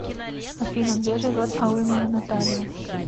афина где живет алымова наталья